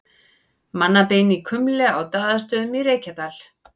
Mannabein í kumli á Daðastöðum í Reykjadal.